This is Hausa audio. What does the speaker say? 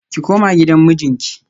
Ki koma gidan mijinki